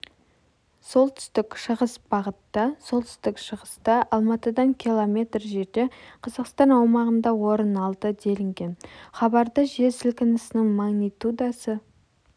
солтүстік-шығыс бағытта солтүстік-шығыста алматыдан км жерде қазақстан аумағында орын алды делінген хабарда жер сілкінісінің магнитудасы